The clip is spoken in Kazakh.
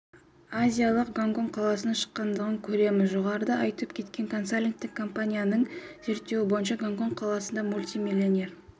азиялық гонконг қаласының шыққандығын көреміз жоғарыда айтып кеткен консалтингтік компаниясының зерттеуі бойынша гонконг қаласында мультимиллионер